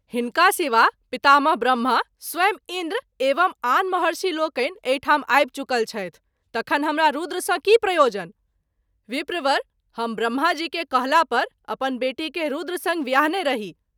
हिनका सिवा पितामह ब्रम्हा, स्वयं इन्द्र एवं आन महर्षि लोकनि एहि ठाम आबि चुकल छथि तखन हमरा रूद्र सँ की प्रयोजन ? विप्रवर! हम ब्रम्हा जी के कहला पर अपन बेटी के रूद्र संग व्याहने रही।